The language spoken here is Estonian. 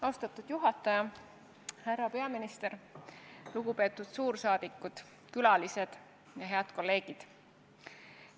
Austatud juhataja, härra peaminister, lugupeetud suursaadikud, külalised ja head kolleegid!